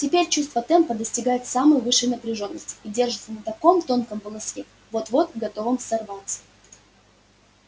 теперь чувство темпа достигает самой высшей напряжённости и держится на каком-то тонком волоске вот-вот готовом сорваться